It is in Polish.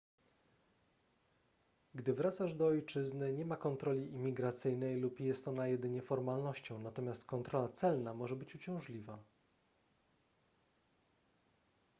gdy wracasz do ojczyzny nie ma kontroli imigracyjnej lub jest ona jedynie formalnością natomiast kontrola celna może być uciążliwa